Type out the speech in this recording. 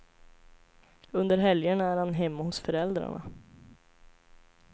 Under helgerna är han hemma hos föräldrarna.